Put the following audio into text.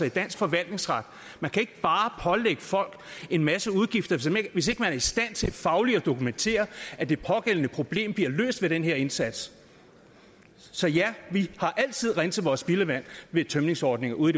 i dansk forvaltningsret man kan ikke bare pålægge folk en masse udgifter hvis ikke man er i stand til fagligt at dokumentere at det pågældende problem bliver løst ved den her indsats så ja vi har altid renset vores spildevand ved tømningsordninger ude